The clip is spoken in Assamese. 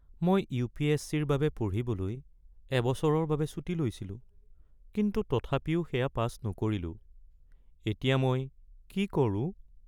মই ইউ.পি.এছ.চি.-ৰ বাবে পঢ়িবলৈ এবছৰৰ বাবে ছুটী লৈছিলোঁ কিন্তু তথাপিও সেয়া পাছ নকৰিলোঁ। এতিয়া মই কি কৰোঁ?